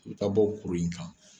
U bɛ taa bɔ kuru in kan.